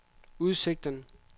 udsigten